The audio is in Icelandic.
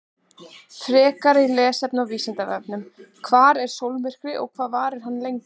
Frekara lesefni á Vísindavefnum: Hvað er sólmyrkvi og hvað varir hann lengi?